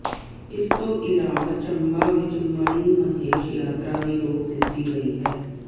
ਇਸ ਤੋਂ ਇਲਾਵਾ ਚੰਬਾ ਵਿੱਚ ਮਣੀਮਹੇਸ਼ ਯਾਤਰਾ ਵੀ ਰੋਕ ਦਿੱਤੀ ਗਈ ਹੈ